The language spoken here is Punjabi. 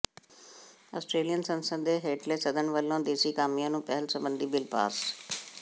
ਆਸਟਰੇਲੀਅਨ ਸੰਸਦ ਦੇ ਹੇਠਲੇ ਸਦਨ ਵੱਲੋਂ ਦੇਸੀ ਕਾਮਿਆਂ ਨੂੰ ਪਹਿਲ ਸਬੰਧੀ ਬਿਲ ਪਾਸ